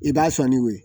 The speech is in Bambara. I b'a sɔn ni o ye